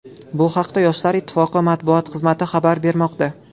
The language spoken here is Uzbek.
Bu haqda Yoshlar ittifoqi matbuot xizmati xabar bermoqda.